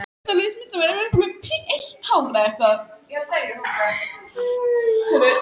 Ég gaf þér allar þær upplýsingar, sem ég hafði.